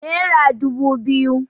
Nera dubu biyu